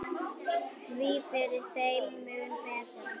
Því fyrr, þeim mun betra.